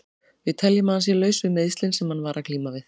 Við teljum að hann sé laus við meiðslin sem hann var að glíma við.